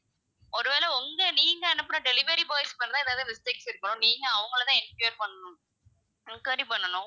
ஒருவேளை உங்க நீங்க அனுப்புன delivery boys னால தான் ஏதாது mistake இருக்கணும், நீங்க அவுங்கள தான் enquire பண்ணனும். enquiry பண்ணனும்